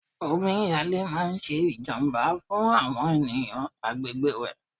Omi yalé máa ń ṣe ìjàmbá fún àwọn ènìyàn agbègbè rẹ̀.